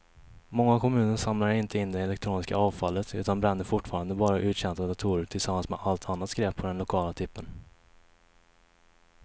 Många kommuner samlar inte in det elektroniska avfallet utan bränner fortfarande bara uttjänta datorer tillsammans med allt annat skräp på den lokala tippen.